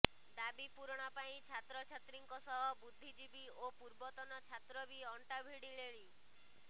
ଦାବି ପୂରଣ ପାଇଁ ଛାତ୍ରଛାତ୍ରୀଙ୍କ ସହ ବୁଦ୍ଧିଜୀବୀ ଓ ପୂର୍ବତନ ଛାତ୍ର ବି ଅଣ୍ଟା ଭିଡିଲେଣି